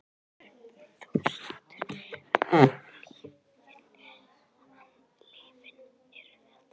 Hrund Þórsdóttir: En lyfin eru það?